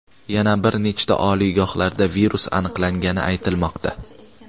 Yana bir nechta oliygohlarda virus aniqlangani aytilmoqda.